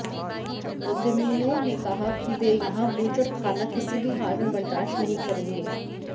उद्यमियों ने कहा कि वे यहां बूचड़खाना किसी भी हाल में बर्दाश्त नहीं करेंगे